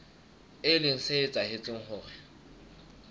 e leng se etsang hore